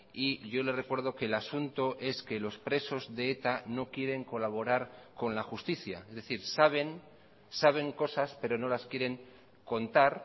y yo le recuerdo que el asunto es que los presos de eta no quieren colaborar con la justicia es decir saben saben cosas pero no las quieren contar